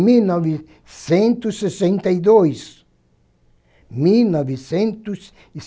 mil novecentos sessenta e dois. Mil novecentos e